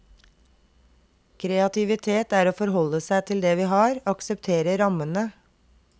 Kreativitet er å forholde seg til det vi har, akseptere rammene.